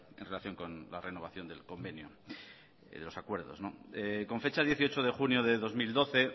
en relación con la renovación del convenio y de los acuerdos con fecha dieciocho de junio de dos mil doce